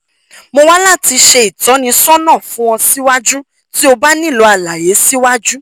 mo wa lati ṣe itọnisọna fun ọ siwaju ti o ba nilo alaye siwaju